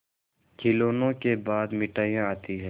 खिलौनों के बाद मिठाइयाँ आती हैं